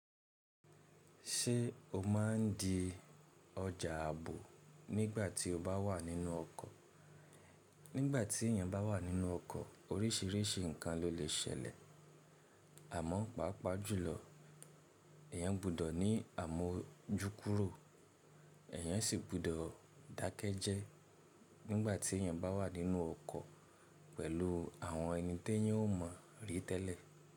Ṣé o má ń di ọjà ààbò nígbà tí o bá wà nínú ọkọ̀? Nígbà tí èèyàn bá wà nínú ọkọ̀ oríṣìíríṣìí nǹkan ló lè ṣẹlẹ̀, àmọ́ pàápàá jùlọ èèyàn gbọ́dọ̀ ní àmójúkúrò èèyàn sì gbọ́dọ̀ dákẹ́ jẹ́ nígbà tí èèyàn bá wà nínú ọkọ̀ pẹ̀lú àwọn ẹni tí èèyàn ò mọ̀ rí tẹ́lẹ̀.